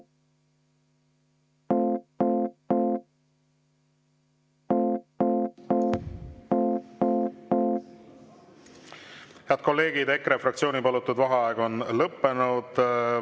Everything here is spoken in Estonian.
Head kolleegid, EKRE fraktsiooni palutud vaheaeg on lõppenud.